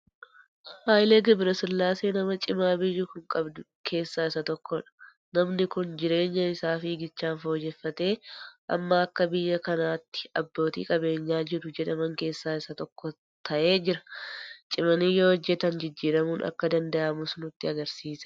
Haayilee Gabrasillaasee nama cima biyyi kun qabdu keessaa isa tokkodha. Namni kun jireenya isaa fiigichaan fooyyeffatee amma akka biyya kanaa tti abbootii qabeenyaa jiru jedhaman keessaa isa tokko ta'ee jira. Cimanii yoo hojjetan jijjiiramuun akka danda'amus nutti agarsiiseera